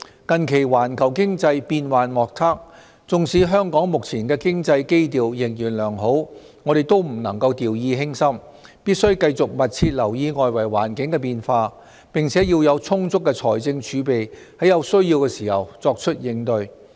近期環球經濟變幻莫測，縱使香港目前的經濟基調仍然良好，我們也不能掉以輕心，必須繼續密切留意外圍環境的變化，並且要有充足的財政儲備，在有需要時作出應對。